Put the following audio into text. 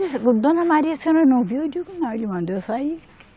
Ô Dona Maria, a senhora não viu, eu digo, não, ele mandou eu sair.